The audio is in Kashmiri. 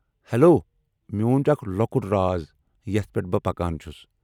ہیلو، میون چھ اکھ لۄکٹ راز یتھ پیٹھ بہٕ پكان چھٗس